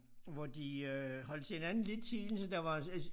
Hvor de øh holdt til hinanden hele tiden så der var altså altså